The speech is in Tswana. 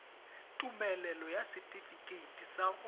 tumelelo ya setifikeite sa go